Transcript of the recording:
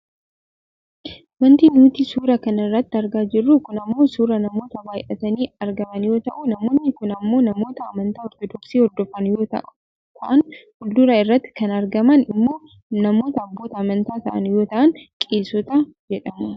Wanti nuti suura kana irratti argaa jirru kun ammoo suuraa namoota baayyatanii argaman yoo ta'u namoonni kun ammoo namoota amantaa ortodoksi hordofan yoo ta'an fuuldura irratti kan argaman immoo namoota abboota amantaa ta'an yoo ta'an qeesota jedhamu.